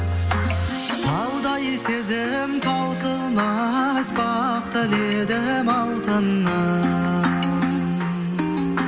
таудай сезім таусылмас бақ тіледім алтыным